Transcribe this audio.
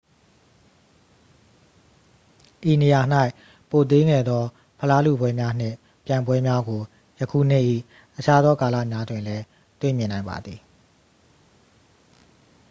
ဤနေရာ၌ ပိုသေးငယ်သော ဖလားလုပွဲများနှင့် ပြိုင်ပွဲများကို ယခုနှစ်၏ အခြားသောကာလများတွင်လည်း တွေ့မြင်နိုင်ပါသည်